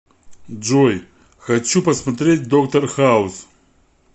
джой хочу посмотреть доктор хауз